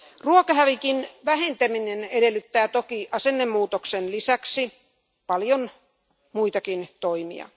Ruokahävikin vähentäminen edellyttää toki asennemuutoksen lisäksi paljon muitakin toimia.